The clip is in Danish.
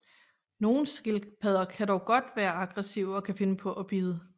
Nogle skildpadder kan dog godt være aggressive og kan finde på at bide